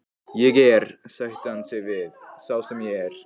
Ég er, sætti hann sig við, sá sem ég er.